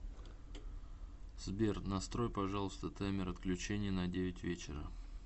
сбер настрой пожалуйста таймер отключения на девять вечера